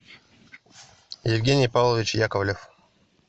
евгений павлович яковлев